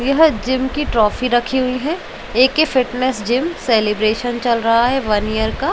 यह जिम की ट्रॉफी रखी हुई है ए.के फिटनेस जिम सेलिब्रेशन चल रहा है वन ईयर का।